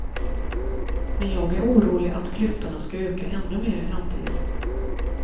Men jag är orolig att klyftorna skall öka ännu mer i framtiden.